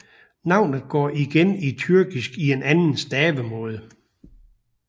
Navnet går igen i tyrkisk i en anden stavemåde